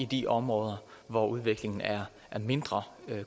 de områder hvor udviklingen er mindre